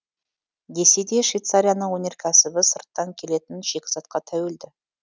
десе де швейцарияның өнеркәсібі сырттан келетін шикізатқа тәуелді